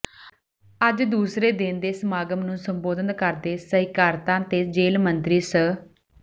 ਅੱਜ ਦੂਸਰੇ ਦਿਨ ਦੇ ਸਮਾਗਮ ਨੂੰ ਸੰਬੋਧਨ ਕਰਦੇ ਸਹਿਕਾਰਤਾ ਤੇ ਜੇਲ ਮੰਤਰੀ ਸ